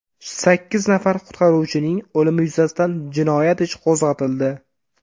Sakkiz nafar qutqaruvchining o‘limi yuzasidan jinoyat ishi qo‘zg‘atildi.